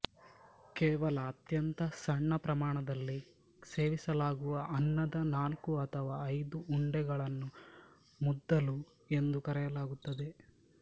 ಕೇವಲ ಅತ್ಯಂತ ಸಣ್ಣ ಪ್ರಮಾಣದಲ್ಲಿ ಸೇವಿಸಲಾಗುವ ಅನ್ನದ ನಾಲ್ಕು ಅಥವಾ ಐದು ಉಂಡೆಗಳನ್ನು ಮುದ್ದಲು ಎಂದು ಕರೆಯಲಾಗುತ್ತದೆ